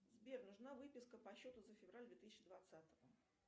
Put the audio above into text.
сбер нужна выписка по счету за февраль две тысячи двадцатого